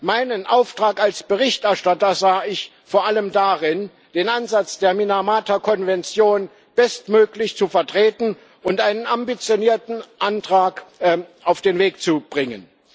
Meinen Auftrag als Berichterstatter sah ich vor allem darin, den Ansatz der Minamata-Konvention bestmöglich zu vertreten und einen ambitionierten Antrag auf den Weg zu bringen.